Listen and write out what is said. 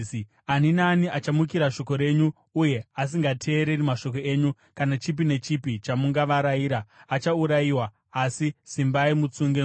Ani naani achamukira shoko renyu uye asingateereri mashoko enyu, kana chipi nechipi chamungavarayira, achaurayiwa. Asi simbai mutsunge mwoyo!”